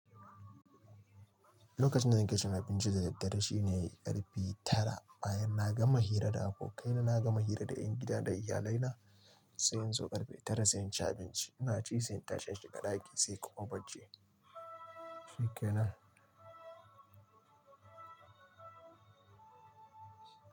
Lokacin da nake cin abinci da daddare shine karfe tara. Bayan na gama hira da abokaina, na gama hira da ƴan gidan da iyalaina sai in zo karfe tara sai in ci abinci. Ina ci sai in tashi in shiga ɗaki sai kuma bacci.